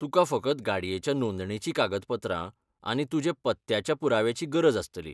तुका फकत गाडयेच्या नोंदणेचीं कागद पत्रां आनी तुजे पत्त्याच्या पुराव्याची गरज आसतली.